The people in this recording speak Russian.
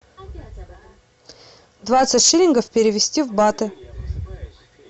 двадцать шиллингов перевести в баты